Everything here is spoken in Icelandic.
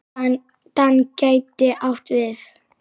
DAN gæti átt við